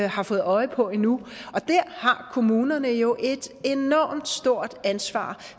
har fået øje på endnu og der har kommunerne jo et enormt stort ansvar